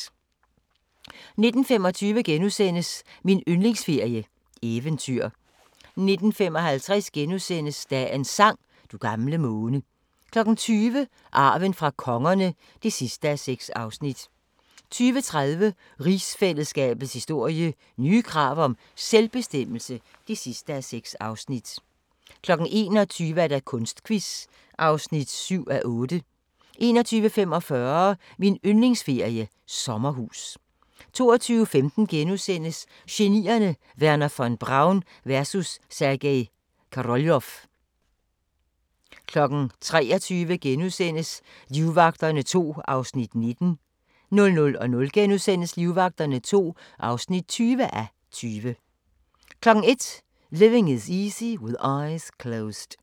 19:25: Min yndlingsferie: Eventyr * 19:55: Dagens sang: Du gamle måne * 20:00: Arven fra kongerne (6:6) 20:30: Rigsfællesskabets historie: Nye krav om selvbestemmelse (6:6) 21:00: Kunstquiz (7:8) 21:45: Min yndlingsferie: Sommerhus 22:15: Genierne: Wernher von Braun vs. Sergej Koroljov * 23:00: Livvagterne II (19:20)* 00:00: Livvagterne II (20:20)* 01:00: Living Is Easy with Eyes Closed